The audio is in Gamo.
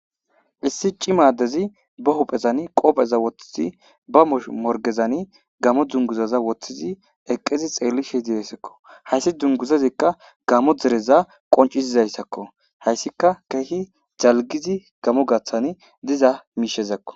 Issi cima adezi ba hupheni qobeza wothidi ba moridezani gamo dunguza wothidi eqizi xelishe desiko hayis dunguzazi gammo dere qoncisozayiako hayis kehi daligid gamo dereni diza mishako